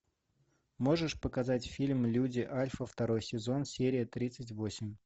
можешь показать фильм люди альфа второй сезон серия тридцать восемь